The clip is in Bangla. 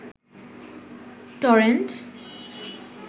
টরেন্ট